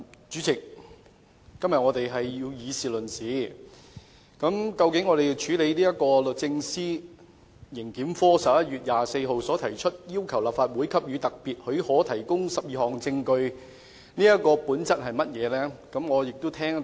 主席，我們今天要以事論事，究竟這項由律政司刑事檢控科於11月24日提出的申請，要求立法會給予特別許可提供12項指明文件的本質為何呢？